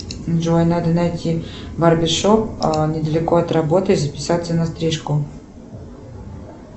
джой надо найти барбершоп недалеко от работы и записаться на стрижку